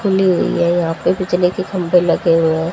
खुली हुई है यहां पे बिजले के खम्भे लगे हुए हैं।